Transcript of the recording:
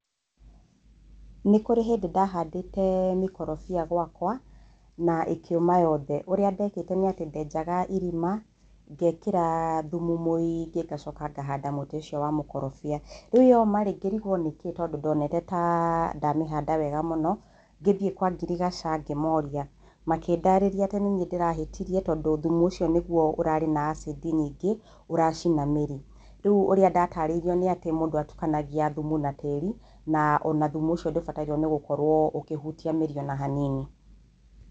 Nĩ kũrĩ hĩndĩ ndahandĩte mĩkorobia gwakwa, na ĩkĩũma yothe, ũrĩa ndekĩte nĩ atĩ ndenjaga irima, ngekĩra thumu mũingĩ, ngacoka ngahanda mũtĩ ũcio wa mũkorobia, rĩu yomarĩ, ngĩrigwo nĩkĩ tondũ ndonete ta ndamĩhanda wega mũno, ngĩthiĩ kwa ngirigaca ngĩmoria makĩndarĩria atĩ nĩ niĩ ndĩrahĩtirie tondũ thumu ũcio nĩguo ũrarĩ na acid nyingĩ, ũracina mĩrĩ. rĩu ũrĩa ndatarĩirio nĩ atĩ, mũndũ atukanagia thumu na tĩri na ona thumu ũcio ndũbataire nĩ gũkorwo ũkĩhutia mĩri o na hanini.